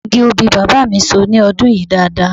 Igi obì bàbá mi so ní ọdún yìí dáadáa